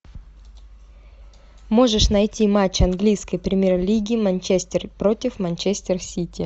можешь найти матч английской премьер лиги манчестер против манчестер сити